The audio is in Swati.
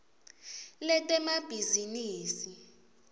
letemabhizinisi